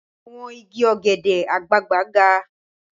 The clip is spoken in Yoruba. Àwọn igi ọ̀gẹ̀dẹ̀ àgbagbà ga.